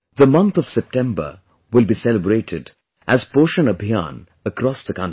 The month of September will be celebrated as 'Poshan Abhiyaan' across the country